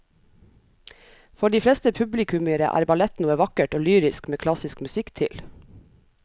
For de fleste publikummere er ballett noe vakkert og lyrisk med klassisk musikk til.